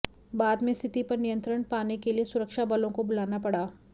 बाद में स्थिति पर नियंत्रण पाने के लिए सुरक्षा बलों को बुलाना पड़ा